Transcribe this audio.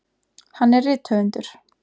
Hann er rithöfundur.